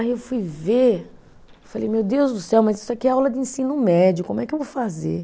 Aí eu fui ver, falei, meu Deus do céu, mas isso aqui é aula de ensino médio, como é que eu vou fazer?